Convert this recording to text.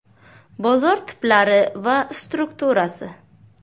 Bozor tiplari va strukturasi.